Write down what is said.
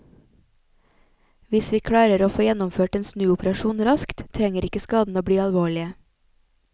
Hvis vi klarer å få gjennomført en snuoperasjon raskt, trenger ikke skadene å bli alvorlige.